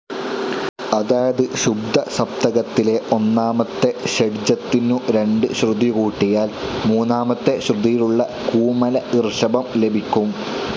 അതായത് ശുദ്ധസപ്തകത്തിലെ ഒന്നാമത്തെ ഷഡ്ജത്തിനു രണ്ടു ശ്രുതി കൂട്ടിയാൽ മൂന്നാമത്തെ ശ്രുതിയിലുള്ള കൂമല ഋഷഭം ലഭിക്കും.